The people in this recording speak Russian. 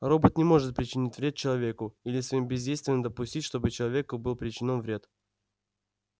робот не может причинить вред человеку или своим бездействием допустить чтобы человеку был причинён вред